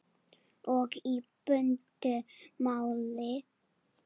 Og í bundnu máli